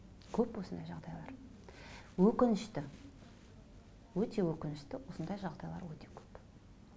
көп осындай жағдайлар өкінішті өте өкінішті осындай жағдайлар өте көп